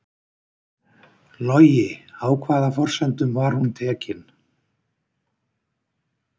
Logi: Á hvaða forsendum var hún tekin?